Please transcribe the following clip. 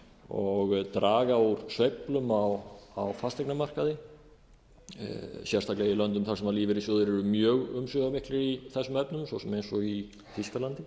og draga úr sveiflum á fasteignamarkaði sérstaklega í löndum þar sem lífeyrissjóðir eru mjög umsvifamiklir í þessum efnum svo sem eins og í þýskalandi